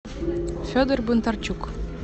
федор бондарчук